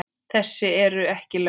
Þessi eru ekki lögleg.